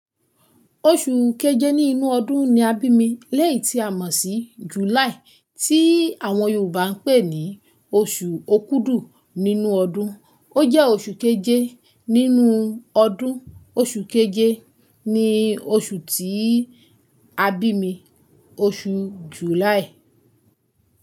Oṣù keje nínú ọdún ni a bí mi léyìí tí a mọ̀ sí July tí àwọn Yorùbá ń pè ní oṣù Okudu nínú ọdún. Ó jẹ́ oṣù keje nínú ọdún. Oṣù keje ni oṣù tí a bí mi, oṣù July.